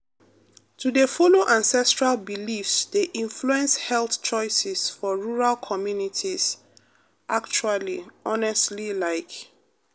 to dey follow ancestral beliefs dey influence health choices for rural communities actually honestly like.